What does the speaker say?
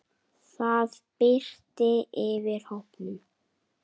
Það birti yfir hópnum.